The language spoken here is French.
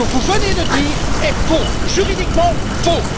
Ce que vous venez de dire est faux, juridiquement faux!